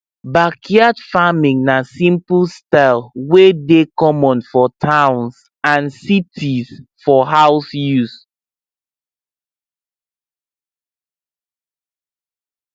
backyard farming na simple style wey dey common for towns and cities for house use